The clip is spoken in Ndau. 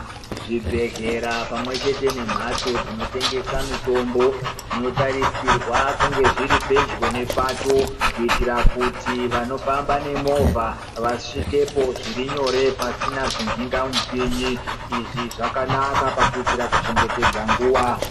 Zvibhedhlera pamwe chete nemhatso dzinotengesa mitombo zvinotarisirwa kunge zviri pedyo nepato kuitira kuti vanofamba nemovha vasvikepo zvirinyore pasina zvimhingamupini. Izvi zvakanaka pakuitira kuchengetedza nguwa.